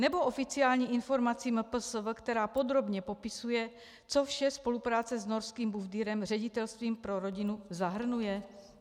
Nebo oficiální informaci MPSV, která podrobně popisuje, co vše spolupráce s norským BUFDIRem, ředitelstvím pro rodinu, zahrnuje?